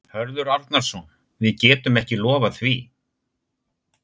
Hörður Arnarson: Við getum ekki lofað því?